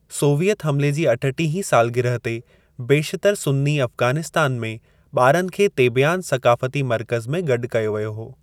Soviet हमले जी अठटीह ते इन सालगिरह ते बेशितर सुन्नी अफ़ग़ानिस्तान में ॿारनि खे तेबियान सक़ाफ़ती मर्क़ज़ु में गॾु कयो वियो हो।